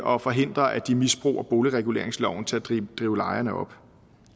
og forhindre at de misbruger boligreguleringsloven til at drive lejerne op